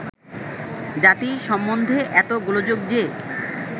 জাতি সম্বন্ধে এত গোলযোগ যে